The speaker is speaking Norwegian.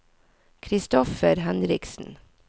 Kristoffer Henriksen